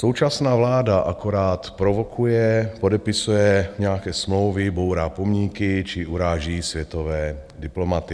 Současná vláda akorát provokuje, podepisuje nějaké smlouvy, bourá pomníky či uráží světové diplomaty.